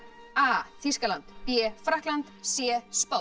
a Þýskaland b Frakkland c